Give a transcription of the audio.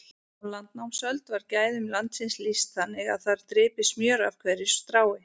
Á landnámsöld var gæðum landsins lýst þannig að þar drypi smjör af hverju strái.